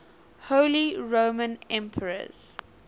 holy roman emperors